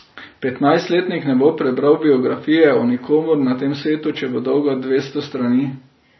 Petnajstletnik ne bo prebral biografije o nikomur na tem svetu, če bo dolga dvesto strani.